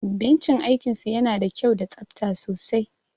Benchi aikin su yana da kyau da tsafta sosai